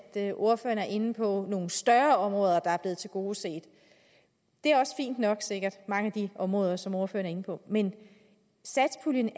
ordføreren er inde på nogle større områder der er blevet tilgodeset det er sikkert mange af de områder som ordføreren er inde på men satspuljen